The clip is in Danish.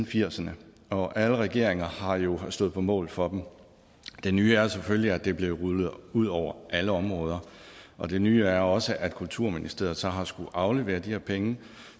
firserne og alle regeringer har jo stået på mål for dem det nye er selvfølgelig at det blev rullet ud over alle områder og det nye er også at kulturministeriet så har skullet aflevere de her penge